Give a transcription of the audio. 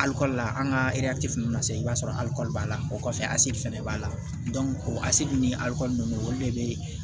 Alikoli la an ka na se i b'a sɔrɔ alikɔli b'a la o kɔfɛ fɛnɛ b'a la o ni aliko nunnu olu de be